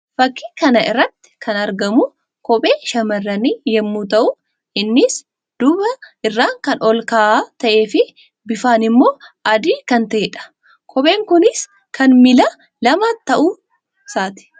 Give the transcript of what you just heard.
Fakkii kana irratti kan argamu kophee shamarrannii yammuu ta'u; innis duuba irraan kan ol ka'aa ta'ee fi bifaan immoo adii kan ta'ee dha. Kopheen kunis kan miilla lamaa ta'uu isaati.